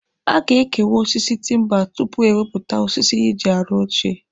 A ga-ekewa osisi timba tupu ewepụta osisi eji arụ oche.